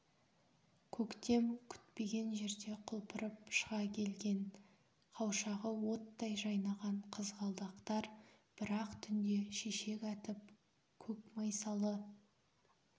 көктем күтпеген жерде құлпырып шыға келген қауашағы оттай жайнаған қызғалдақтар бір-ақ түнде шешек атып көк майсалы